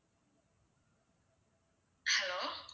hello